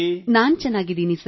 ನಾನು ಚೆನ್ನಾಗಿದ್ದೇನೆ ಸರ್